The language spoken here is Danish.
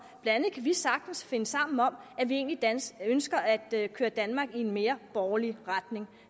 blandt andet kan vi sagtens finde sammen om at vi egentlig ønsker at køre danmark i en mere borgerlig retning